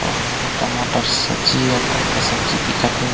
अउ टमाटर सब्जी अका अका सब्जी दिखत है।